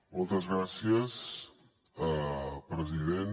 moltes gràcies president